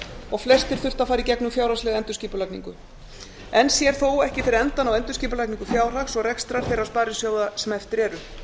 og flestir þurft að fara í gegnum fjárhagslega endurskipulagningu enn sér þó ekki fyrir endann á endurskipulagningu fjárhags og rekstrar þeirra sparisjóða sem eftir eru